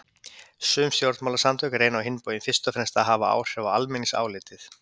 Sum stjórnmálasamtök reyna á hinn bóginn fyrst og fremst að hafa áhrif á almenningsálitið.